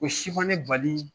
Ko si ma ne bali